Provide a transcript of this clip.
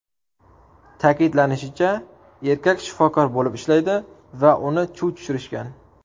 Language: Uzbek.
Ta’kidlanishicha, erkak shifokor bo‘lib ishlaydi va uni chuv tushirishgan.